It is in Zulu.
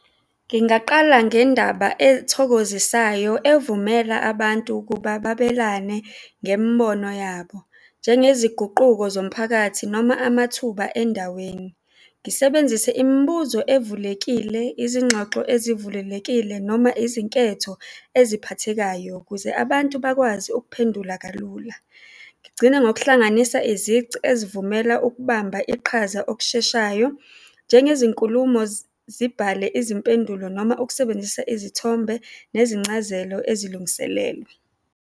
Ngingaqala ngendaba ethokozisayo evumela abantu ukuba babelane ngemibono yabo. Njengeziguquko zomphakathi noma amathuba endaweni, ngisebenzise imibuzo evulekile, izingxoxo ezivulelekile noma izinketho eziphathekayo ukuze abantu bakwazi ukuphendula kalula. Ngigcine ngokuhlanganisa izici ezivumela ukubamba iqhaza okusheshayo njengezinkulumo, zibhale izimpendulo noma ukusebenzisa izithombe nezincazelo ezilungiselelwe.